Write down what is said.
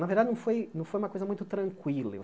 Na verdade, não foi não foi uma coisa muito tranquila.